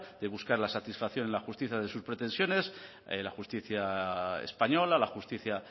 de buscar la satisfacción en la justicia de sus pretensiones la justicia española la justicia